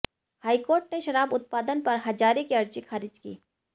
high court ने शराब उत्पादन पर हजारे की अर्जी खारिज की